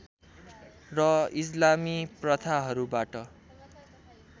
र इस्लामी प्रथाहरूबाट